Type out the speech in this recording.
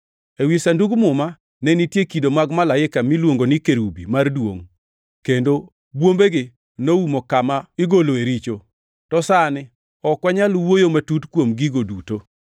Ewi Sandug Muma ne nitie kido mag malaika miluongo ni kerubi mar Duongʼ, kendo bwombegi noumo kama igoloe richo. To sani ok wanyal wuoyo matut kuom gigo duto.